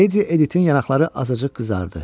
Ledi Editin yanaqları azacıq qızardı.